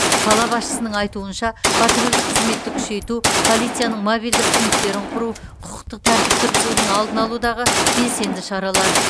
қала басшысының айтуынша патрульдік қызметті күшейту полицияның мобильді пункттерін құру құқықтық тәртіпті бұзудың алдын алудағы белсенді шаралар